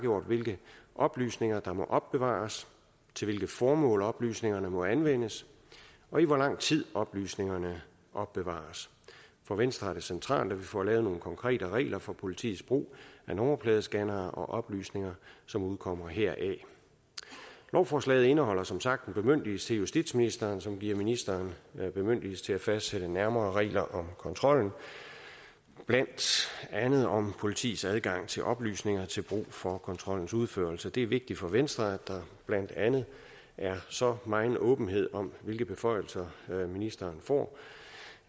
hvilke oplysninger der må opbevares til hvilket formål oplysningerne må anvendes og i hvor lang tid oplysningerne opbevares for venstre er det centralt at vi får lavet nogle konkrete regler for politiets brug af nummerpladescannere og oplysninger som udkommer heraf lovforslaget indeholder som sagt en bemyndigelse til justitsministeren som giver ministeren bemyndigelse til at fastsætte nærmere regler om kontrollen blandt andet om politiets adgang til oplysninger til brug for kontrollens udførelse det er vigtigt for venstre at der blandt andet er så megen åbenhed om hvilke beføjelser ministeren får